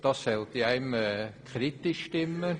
Das sollte einen kritisch stimmen.